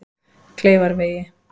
Kleifarvegi